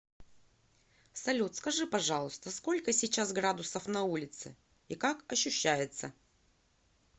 салют скажи пожалуйста сколько сейчас градусов на улице и как ощущается